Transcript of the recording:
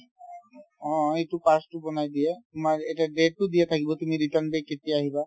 অ, এইটো pass তো বনাই দিয়ে তোমাৰ এটা date তো দিয়া থাকিব তুমি return day কেতিয়া আহিবা